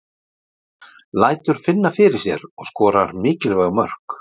Lætur finna fyrir sér og skorar mikilvæg mörk.